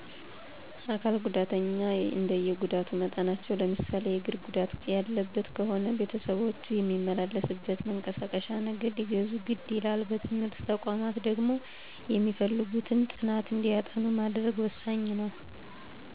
አካል ጉዳተኞች እንደየጉዳት መጠናቸው ለምሳሌ የግር ጉዳት ያለበት ከሆነ ቤተሰቦቹ የሚመላለስበት መንቀሳቀሼ ነገር ሊገዙ ግድ ይላል። በትምህርት ተቋማት ደግሞ የሚፈልጉትን ጥናት እንዲያጠኑ ማድረግ ወሣኝ ነው።